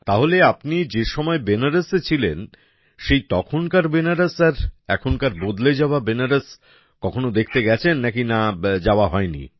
তাহলে আপনি যেসময় বেনারসে ছিলেন সেই তখনকার বেনারস আর এখনকার বদলে যাওয়া বেনারস কখনও দেখতে গেছেন নাকি যাওয়া হয়নি